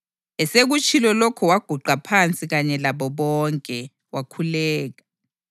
Esekutshilo lokhu waguqa phansi kanye labo bonke, wakhuleka.